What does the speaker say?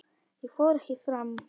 Ég fór ekki fram.